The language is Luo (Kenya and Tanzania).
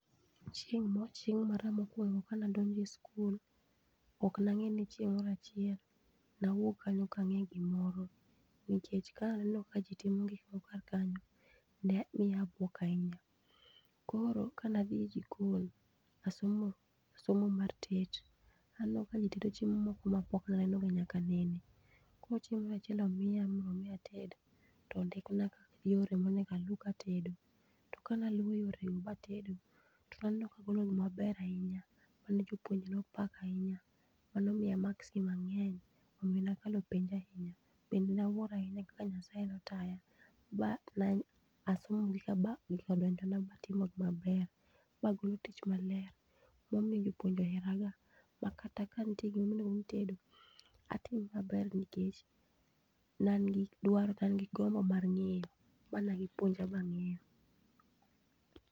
Chieng mara mokwongo kanadonje school ok nangeni chieng moro achiel nawuog kanyo kange gimoro nikech kaneno kaji timo gikmoko karkanyo nemiyo abuok ahinya omiyo kanadhi e jikon nasomo somo mar tet aneno kaji tedo chiemo moko mapok nanenoga nyaka nene. Koro chieng moro achiel omiya mondo mi ated tondikna yore monegaluu katedo to ka naluwo yore go matedo tonaneno kagolo gimaber ahinya majopuonje nopako ahinya manomiya maksi mangeny omi nakalo penj ahinya bende nawuoro ahinya kaka nyasaye notaya matimo tich maber magolo gimaber momiyo jopuonje oheraga nikech kata kanitie gimoro mitedo atimo maber nikech nean gi dwaro gi gombo mar ngeyo manegipuonja mangeyo